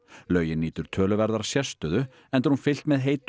laugin nýtur töluverðrar sérstöðu enda er hún fyllt með heitu